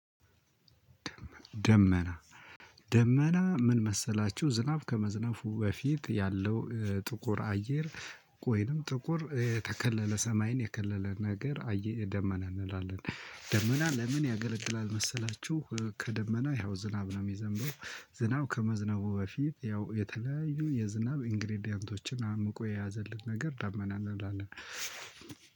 ደመና ደመና ምን መሰላችሁ ዝናብ ከመዝነቡ በፊት ያለው ጥቁር አየር ወይንም ጥቁር የተከለለ ሰማይን የከለለ ነገር አየር ደመና እንላለን። ደመና ለምን ያገለግላል መሰላችሁ? ከደመና ያው ዝናብ ነው የሚዘነበው። ዝናብ ከመዝነቡ በፊት ያው የተለያዩ የዝናብ ኢንግሪደቶችን አምቆ የያዘልን ነገር ዳመና እንላለን።